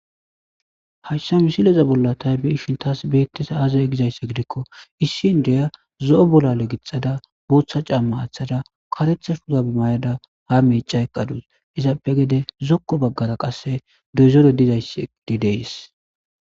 Hayssa misileza bolla tay be ishin taas beettes aazaya gizaysse gidikko issiiindiya zo'o bolale gixada booththa caamma aaththada karetha shuuta bemay'ada ha meeca eqqadus izaappe gede zokko baggara qasse deezore dizay dideys.